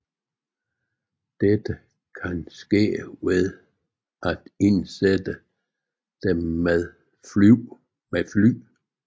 Dette kan ske ved at indsætte dem med fly